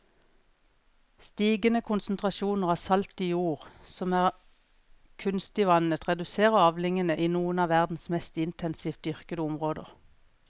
Stigende konsentrasjoner av salt i jord som er kunstig vannet reduserer avlingene i noen av verdens mest intensivt dyrkede områder.